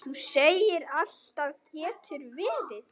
Þú segir alltaf getur verið!